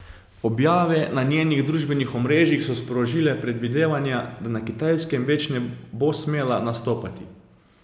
Objave na njenih družbenih omrežjih so sprožile predvidevanja, da na Kitajskem več ne bo smela nastopati.